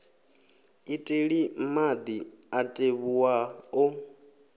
iteli madi a tevhuwa o